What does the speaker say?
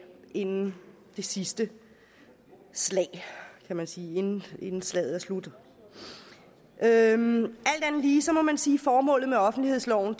inden det sidste slag kan man sige inden slaget er slut alt andet lige må man sige at formålet med offentlighedsloven